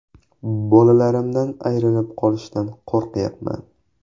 Bolalarimdan ayrilib qolishdan qo‘ryapman.